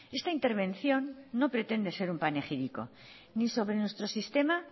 esta intervención no pretende ser un panegírico ni sobre nuestro sistema